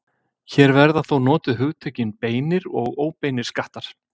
Hér verða þó notuð hugtökin beinir og óbeinir skattar.